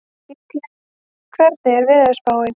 Gísley, hvernig er veðurspáin?